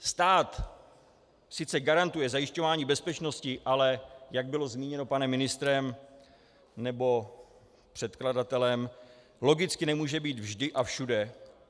Stát sice garantuje zajišťování bezpečnosti, ale jak bylo zmíněno panem ministrem nebo předkladatelem, logicky nemůže být vždy a všude.